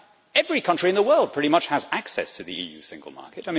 Every country in the world, pretty much, has access to the EU single market.